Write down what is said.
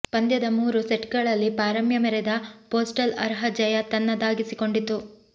ಪಂದ್ಯದ ಮೂರೂ ಸೆಟ್ಗಳಲ್ಲಿ ಪಾರಮ್ಯ ಮೆರೆದ ಪೋಸ್ಟಲ್ ಅರ್ಹ ಜಯ ತನ್ನದಾಗಿಸಿಕೊಂಡಿತು